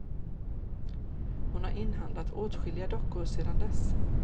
Hon har inhandlat åtskilliga dockor sedan dess.